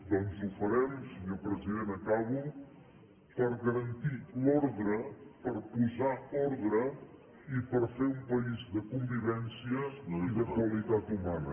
doncs ho farem senyor president acabo per garantir l’ordre per posar ordre i per fer un país de convivència i de qualitat humana